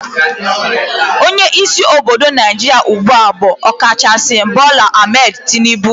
Onye isi obodo naijiria ugbua bu Okachaisi Bola Ahmed Tinibu